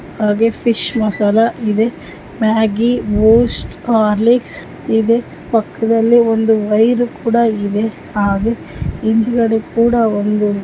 ಹಾಗೆ ಫಿಶ್ ಮಸಾಲಾ ಇದೆ Maggi Boost Horlicks ಇದೆ ಪಕ್ಕದಲ್ಲಿ ಒಂದು ವೈರ್ ಕೂಡಾ ಇದೆ ಹಾಗೆ ಹಿಂದ್ಗಡೆ ಕೂಡಾ ಒಂದು--